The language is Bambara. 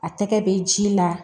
A tɛgɛ bɛ ji la